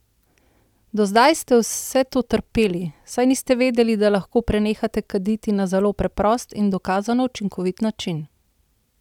Do zdaj ste vse to trpeli, saj niste vedeli, da lahko prenehate kaditi na zelo preprost in dokazano učinkovit način!